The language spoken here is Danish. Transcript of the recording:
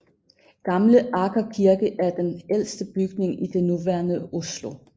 Gamle Aker Kirke er den ældste bygning i det nuværende Oslo